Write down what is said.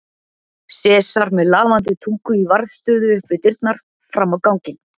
Sesar með lafandi tungu í varðstöðu upp við dyrnar fram á ganginn.